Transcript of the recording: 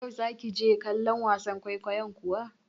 Yau za ki je kallon wasan kwaikwayon kuwa?